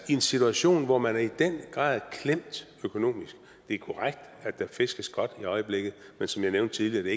i en situation hvor man i den grad er klemt økonomisk det er korrekt at der fiskes godt i øjeblikket men som jeg nævnte tidligere er